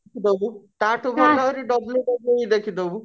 ଦବୁ ତାଠୁ ଭଲ ଆଉ WWW ଦେଖିଦବୁ